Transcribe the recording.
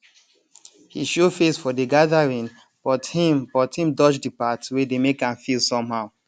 he show face for the gathering but him but him dodge the parts wey dey make am feel somehow